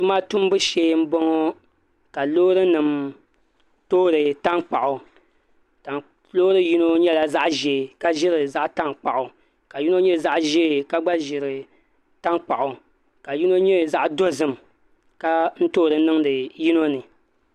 Tuma tumbu shee n boŋo ka loori nim toori tankpaɣu loori yino nyɛla zaɣ ʒiɛ ka ʒiri zaɣ tankpaɣu ka yino nyɛ zaɣ ʒiɛ ka gba ʒiri tankpaɣu ka yino nyɛ zaɣ dozim ka toori niŋdi yino ni